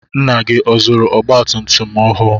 Nna gị ọ zụrụ ọgba tum tum ọhụụ?